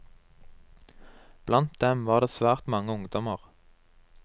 Blant dem var det svært mange ungdommer.